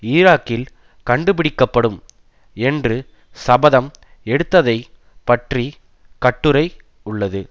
ஈராக்கில் கண்டுபிடிக்கப்படும் என்று சபதம் எடுத்ததைப் பற்றி கட்டுரை உள்ளது